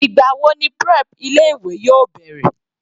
Ìgbà wo ni prep ilé ìwé yóò bẹ̀rẹ̀?